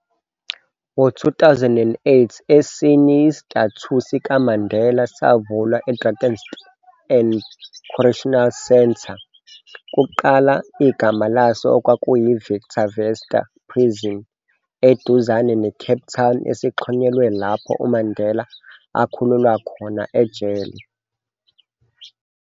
Ngo 2008, esinye istatue sikaMandela savulwa e-Drakenstein Correctional Centre, kuqala igama laso okwakuyi-Victor Verster Prison, eduzane ne-Cape Town, sixhonyelwe lapho uMandela akhululwa khona ejele.